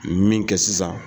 Min kɛ sisan.